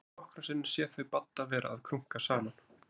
Hún hafði nokkrum sinnum séð þau Badda vera að krunka saman.